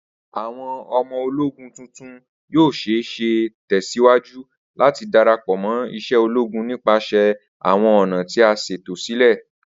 Awọn ọmọ-ologún tuntun yoo ṣee ṣe tẹsiwaju lati darapọ mo ise ologun nipasẹ awọn ọna ti a ṣeto silẹ